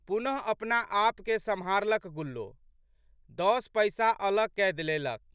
पुनः अपनाआपके सम्हारलक गुल्लो। दस पैसा अलग कए लेलक।